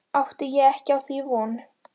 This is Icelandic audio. Átti ég ekki á því von.